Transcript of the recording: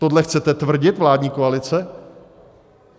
Tohle chcete tvrdit, vládní koalice?